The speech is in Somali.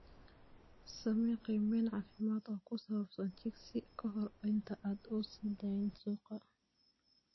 Samee qiimayn caafimaad oo ku saabsan chicks ka hor inta aanad u sii dayn suuqa.